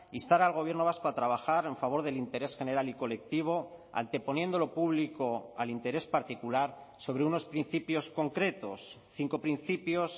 instar al gobierno vasco a trabajar en favor del interés general y colectivo anteponiendo lo público al interés particular sobre unos principios concretos cinco principios